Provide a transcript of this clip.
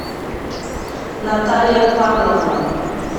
наталья павловна